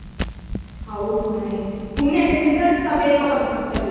ಹೌದು ಮಾರೇತಿ ಪುಣ್ಯಕ್ಕೆ result ಸಾ ಬೇಗ ಬಂತು ಈ ಸಲಿ.